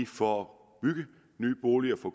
for at bygge nye boliger for